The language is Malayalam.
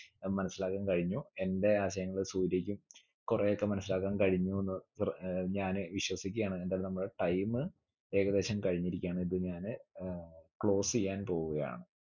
ഏർ മനസ്സിലാക്കാൻ കഴിഞ്ഞു എന്റെ ആശയങ്ങൾ സൂര്യക്കും കൊറേയൊക്കെ മനസ്സിലാക്കാൻ കഴിഞ്ഞു എന്ന് പർ ഏർ ഞാന് വിശ്വസിക്കുകയാണ് ഏന്തയാല് നമ്മുടെ time ഏകദേശം കഴിഞ്ഞിരിക്കുകയാണ് ഇത് ഞാന് ഏർ close എയ്യാൻ പോവുകയാണ്